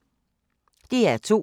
DR2